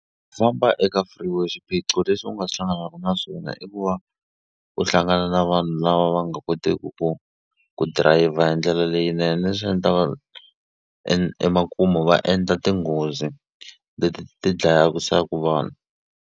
Famba eka freeway xiphiqo leswi u nga hlanganaku naswona i ku va u hlangana na vanhu lava va nga koteki ku ku dirayivha hi ndlela leyinene leswi endlaka emakumu va endla tinghozi leti ti dlaya vanhu.